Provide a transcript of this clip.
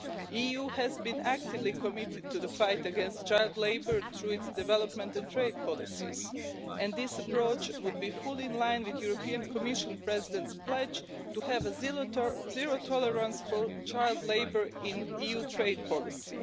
The EU has been actively committed to the fight against child labour through its development and trade policies, and this approach would be fully in line with the European Commission President's pledge to have zero tolerance for child labour in EU trade policy.